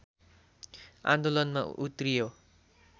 आन्दोलनमा उत्रियो